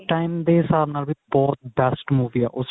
ਉਸ time ਦੇ ਹਿਸਾਬ ਨਾਲ ਬਹੁਤ ਵੀ ਬਹੁਤ best movie ਏ